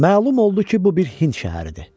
Məlum oldu ki, bu bir Hind şəhəridir.